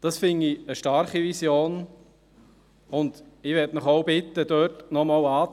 Das finde ich eine starke Vision, und ich möchte Sie auch bitten, dort noch einmal einzuhaken.